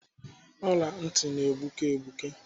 Ọla ntị na-egbuke egbuke.